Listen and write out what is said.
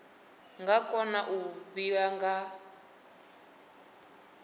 nga kona u kavhiwa nga